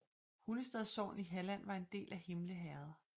Hunnestad sogn i Halland var en del af Himle herred